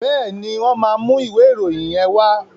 Bẹ́ẹ̀ni, wọ́n máa ìwé ìròyìn yẹn wá.